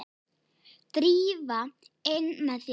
Drífa, inn með þig!